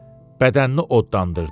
Bədənini odlandırdı.